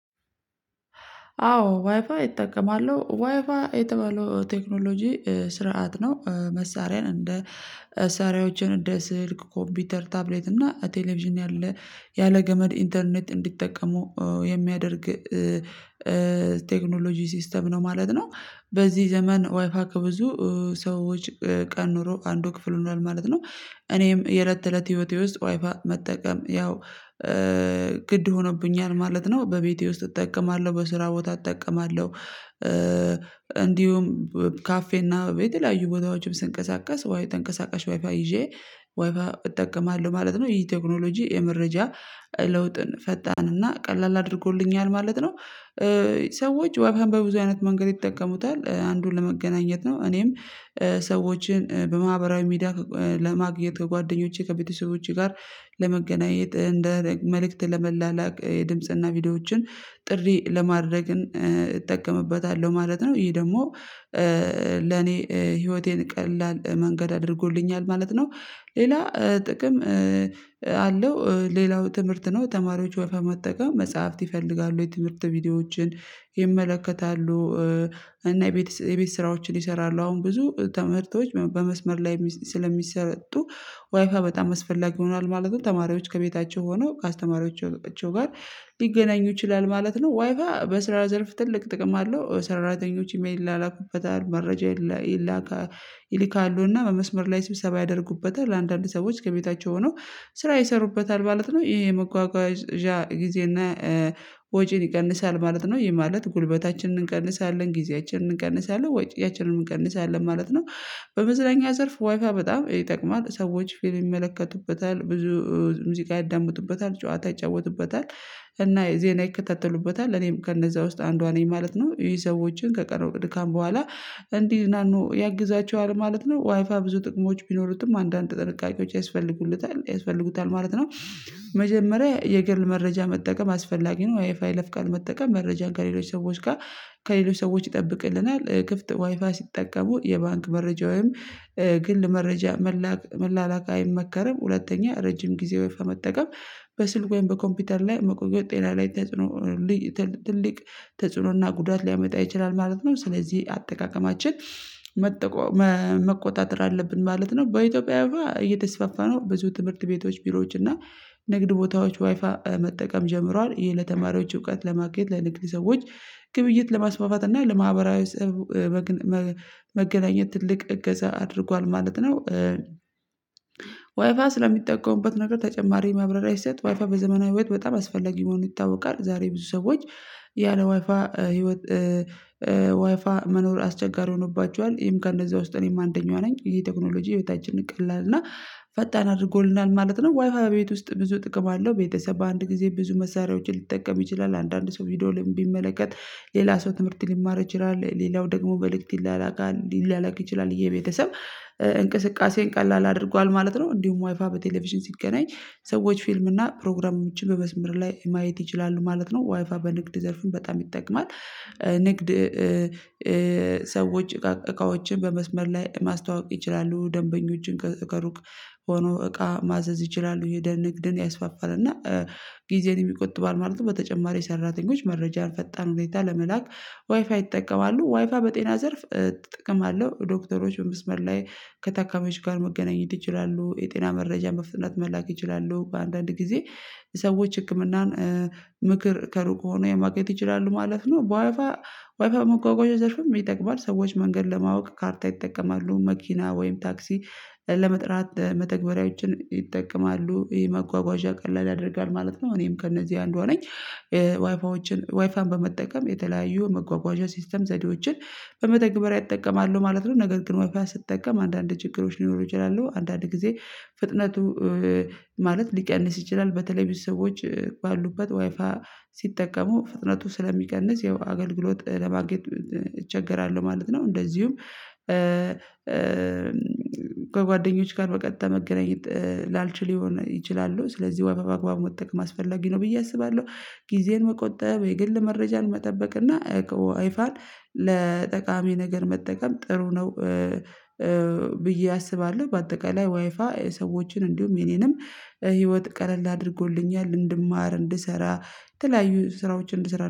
አዎ ዋይፋይ እጠቀማለሁ። ዋይፋይ የተባለው ቴክኖሎጂ ስርዓት ነው መሳሪያን እንደ መሳሪያዎችን እንደ ስልክ፣ ኮፒውተር፣ ታብሌት እና ቴሌቪዥን ያለ ያለ ገመድ ኢንተርኔት እንዲጠቀሙ የሚያደርግ ቴክኖሎጂ ሲስተም ነው ማለት ነው በዚህ ዘመን ዋይፋይ ከብዙ ሰዎች ቀን ኖሮ አንዱ ክፍል ሆኗል ማለት ነው። እኔም የእለት ተእለት ህይወቴ ውስጥ ዋይፋይ መጠቀም ያው ግድ ሆኖብኛል ማለት ነው በቤቴ ውስጥ እጠቀማለሁ፣ በስራ ቦታ እጠቀማለሁ፣ እንዲሁም ካፌና የተለያዩ ቦታዎችም ስንቀሳቀስ ወይ ተንቀሳቃሽ ዋይፋይ ይዤ ዋይፋይ እጠቀማለሁ ማለት ነው ይሄ ቴክኖሎጂ የመረጃ ለውጥን ፈጣን እና ቀላል አድርጎልኛል ማለት ነው። ሰዎች ዋይፋይን በብዙ አይነት መንገድ ይጠቀሙታል አንዱን ለመገናኘት ነው እኔም ሰዎችን በማህበራዊ ሜዳ ለማግኘት ከጓደኞቼ ከቤተሰቦቼ ጋር ለመገናኘት እንደ መልእክት ለመላላክ የድምጽና ቪዲዮዎችን ጥሪ ለማድረግም እጠቀምበታለሁ ማለት ነው ይሄ ደግሞ ለኔ ህይወቴን ቀላል መንገድ አድርጎልኛል ማለት ነው ሌላ ጥቅም አለው ሌላው ትምህርት ነው ተማሪዎች ወይ በመጠቀም መጽሐፍት ይፈልጋሉ የትምህርት ቪዲዮዎችን ይመለከታሉ እና የቤት የቤት ስራዎችን ይሰራሉ። አሁን ብዙ ትምህርቶዎች በመስመር ላይ ስለሚሰጡ ዋይፋይ በጣም አስፈላጊ ይሆናል ማለትም ተማሪዎች ከቤታቸው ሆነው ከአስተማሪዎቹ ጋር ሊገናኙ ይችላል ማለት ነው ዋይፋ በስራ ዘርፍ ትልቅ ጥቅም አለው ሰራተኞች ኢሜል ይላላኩበት መረጃ ይላካ ይልካሉና በመስመር ላይ ሲብሰባ ያደርጉበታል አንዳንድ ሰዎች ከቤታቸው ሆነው ስራ ይሰሩበታል ማለት ነው ይሄ መጓጓዣ ጊዜና ወጪን ይቀንሳል ማለት ነው ይሄ ማለት ጉልበታችንን እንቀንሳለን፣ ጊዜያችንን እንቀንሳለን፣ ወጫችንንም እንቀንሳለን ማለት ነው፣ በመዝናኛ ዘርፍ ዋይፋይ በጣም ይጠቅማል ሰዎች ፊልም ይመለከቱበታል፣ ብዙ ሙዚቃ ያዳምጡበታል፣ ጨዋታ ይጫወቱበታል እና ዜና ይከታተሉበታል እኔም ከነዛ ውስጥ አንዷ ነኝ ማለት ነው ይሄ ሰዎችን ከቀረው ድካም በኋላ እንዲዝናኑ ያግዛቸዋል ማለት ነው ዋይፋይ ብዙ ጥቅሞች ቢኖሩትም አንዳንድ ጥንቃቄዎች ያስፈልጉታል ያስፈልጉታል ማለት ነው፤ መጀመሪያ የግል መረጃ መጠቀም አስፈላጊ ነው ዋይፋይ በይለፍ ቃል መጠቀም መረጃ ከሌሎች ሰዎች ጋር ከሌሎች ሰዎች ይጠብቅልናል ክፍት ዋይፋይ ሲጠቀሙ የባንክ መረጃ ወይም ግል መረጃ መላክ መላእክት አይመከርም። ሁለተኛ ረጅም ጊዜ ዋይፋይ መጠቀም በስልክ ወይም በኮምፒውተር ላይ መቆየት ጤና ላይ ተጽዕኖ ትልቅ ተጽዕኖና ጉዳት ሊያመጣ ይችላል ማለት ነው ስለዚህ አጠቃቀማችን መቆጣጠር አለብን ማለት ነው። በኢትዮጵያ እየተስፋፋ ነው ብዙ ትምህርት ቤቶች ቢሮዎች እና ንግድ ቦታዎች ዋይፋይ መጠቀም ጀምሯል ይሄ ለተማሪዎች እውቀት ለማኬት ለንግድ ሰዎች ግብይት ለማስፋፋት እና ለማህበራዊ መገናኘት ትልቅ እገዛ አድርጓል ማለት ነው። ዋይፋይ ስለሚጠቀሙበት ነገር ተጨማሪ ማብረሪያ ስሰጥ ዋይፋ በዘመናዊ ህይወት በጣም አስፈላጊ መሆኑ ይታወቃል ዛሬ ብዙ ሰዎች ያለ ዋይፋይ ህይወት ያለ ዋይፋይ መኖር አስቸጋሪ ሆኖባቸዋል ይሄም ከእነዛ ውስጥ እኔም አንደኛዋ ነኝ ይሄ ቴክኖሎጂ ህይወታችንን ቀላል እና ፈጣን አድርጎልናል ማለት ነው ዋይፋይ ቤት ውስጥ ብዙ ጥቅም አለው ቤተሰብ በአንድ ጊዜ ብዙ መሳሪያዎችን ሊጠቀም ይችላል አንዳንድ ሰው ቪዲዮ ላይ ቢመለከት ሌላ ሰው ትምህርት ሊማር ይችላል ሌላው ደግሞ መልእክት ይላላካል ሊላላክ ይችላል የቤተሰብ እንቅስቃሴን ቀላል አድርጓል ማለት ነው እንዲሁም ዋይፋይ በቴሌቪዥን ሲገናኝ ሰዎች ፊልም እና ፕሮግራሞችን በመስመር ላይ ማየት ይችላሉ ማለት ነው። ዋይፋ በንግድ ዘርፉም በጣም ይጠቀማል። ንግድ ሰዎች እቃዎችን በመስመር ላይ ማስተዋወቅ ይችላሉ፣ ደንበኞችን ከሩቅ ሆነው እቃ ማዘዝ ይችላሉ ደሞ ንግድን ያስፋፋል እና ጊዜንም ይቆጥባል ማለት ነው በተጨማሪ ሰራተኞች መረጃ በፈጣን ሁኔታ ለመላክ ዋይፋይ ይጠቀማሉ። ዋይፋ በጤና ዘርፍ ጥቅም አለው ዶክተሮችን በመስመር ላይ ከታካሚዎች ጋር መገናኘት ይችላሉ፣ የጤና መረጃ መፍጠን መላክ ይችላሉ፣ አንዳንድ ጊዜ ሰዎች ህክምናን ምክር ከሩቅ ሆነው ማግኘት ይችላሉ፣ ማለት ነው በዋይፋይ ዋይፋይ በመጓጓዣ ዘርፍም ይጠቅማል። ሰዎች መንገድ ለማወቅ ካርታ ይጠቀማሉ፣ መኪና ወይም ታክሲ ለመጥራት መተግበሪያዎችን ይጠቀማሉ ይሄ መጓጓዣ ቀላል ያደርጋል ማለት ነው እኔም ከእነዚህ አንዷ ነኝ ዋይፋይዎችን ዋይፋይን በመጠቀም የተለያዩ መጓጓዣቸው ሲስተም ዘዴዎችን በመተግበሪያ እጠቀማለሁ ማለት ነው ነገር ግን ዋይፋይ ስትጠቀም አንዳንድ ችግሮች ሊኖሩ ይችላሉ አንዳንድ ጊዜ ፍጥነቱ ሊቀንስ ይችላል በተለይ ቤተሰቦች ባሉበት ዋይፋ ሲጠቀሙ ፍጥነቱ ስለሚቀንስ ያው አገልግሎት ለማግኘት እቸገራለሁ ማለት ነው እንደዚሁም ጋር በቀጥታ መገናኘት ላልችል ይሆን ይችላሉ ስለዚህ ዋይፋይ በአግባቡ መጠቀም አስፈላጊ ነው ብዬ አስባለሁ። ጊዜን መቆጠብ፣ የግል መረጃን መጠበቅና ዋይፋይን ለጠቃሚ ነገር መጠቀም ጥሩ ነው ብዬ አስባለሁ በአጠቃላይ ዋይፋይ ሰዎችን እንዲሁም የኔንም ህይወት ቀለል አድርጎልኛል እንድማር፣ እንድሰራ፣ የተለያዩ ስራዎችን እንድሰራ አድርጎኛል።